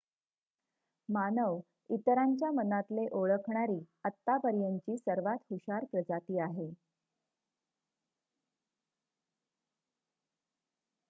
मानव इतरांच्या मनातले ओळखणारी आतापर्यंतची सर्वात हुशार प्रजाती आहे